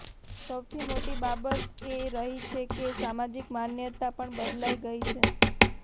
સૌથી મોટી બાબત એ રહી છે કે સામાજિક માન્યતા પણ બદલાઇ ગઇ છે